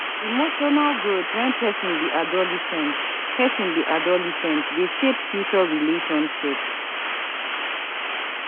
Emotional growth wen pesin be adolescent pesin be adolescent dey shape future relationships.